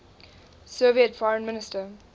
soviet foreign minister